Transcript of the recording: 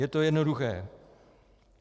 Je to jednoduché.